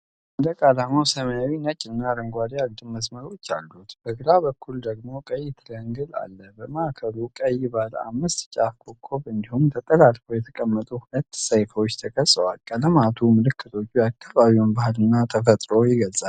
ሰንደቅ ዓላማው ሰማያዊ፣ ነጭ እና አረንጓዴ አግድም መስመሮች አሉት። በግራ በኩል ደግሞ ቀይ ትሪያንግል አለ። በማዕከሉ ቀይ ባለ አምስት ጫፍ ኮከብ እንዲሁም ተጠላልፈው የተቀመጡ ሁለት ሰይፎች ተቀርጸዋል። ቀለማቱ እና ምልክቶቹ የአካባቢውን ባህል እና ተፈጥሮ ይገልጻሉ።